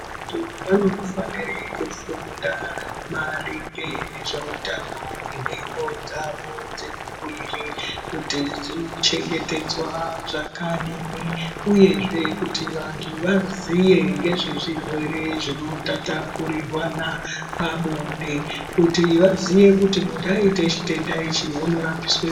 Vantu vanofanire kufunda maringe nezveutano hwenhengo dzavo dzemuviri kuti dzino chengetedzwa zvakadini uyezve kuti vantu vaziye nezvezvirwere zvino tatapurirwana pabonde kuti vaziye kuti muntu aite chitenda ichi uno rapiswe.